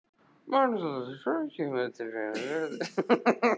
Magnús Halldórsson: Hvað kemur til greina, leggja hann niður?